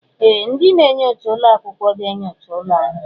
Ee! Ndị na-enyocha ụlọ akwụkwọ ga-enyocha ụlọ ahụ.